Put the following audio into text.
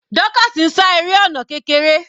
Dorcas ń sá eré ọ̀nà kékeré.